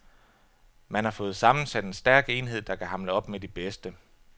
Man har fået sammensat en stærk enhed, der kan hamle op med de bedste.